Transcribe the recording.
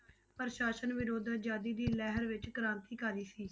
ਪ੍ਰਸਾਸਨ ਵਿਰੋਧ ਆਜ਼ਾਦੀ ਦੀ ਲਹਿਰ ਵਿੱਚ ਕ੍ਰਾਂਤੀਕਾਰੀ ਸੀ।